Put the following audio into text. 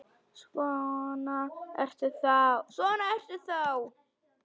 Svona ertu þá!